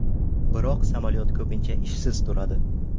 Biroq samolyot ko‘pincha ishsiz turadi.